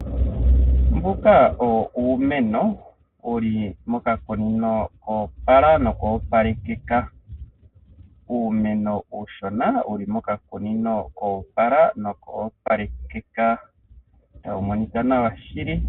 Mboka owo uumeno wuli mokakuni koopala noka opalekeka tawu monika nawa shili.